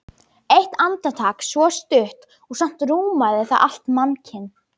Eitt andartak svo stutt og samt rúmaði það allt mannkyn.